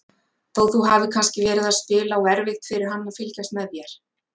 Þó þú hafir kannski verið að spila og erfitt fyrir hann að fylgjast með þér?